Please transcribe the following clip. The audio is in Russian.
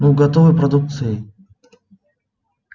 ну готовой продукцией